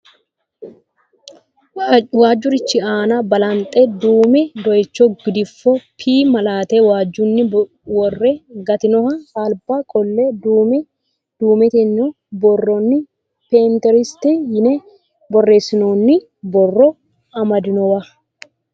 Waajjurichi aana balanxe duume dooyicho gidfo p malaate waajjunni worre gatinoha alba qolle duume du'mitino borronni pinteresti yine borreessinoonni borro amadinowa.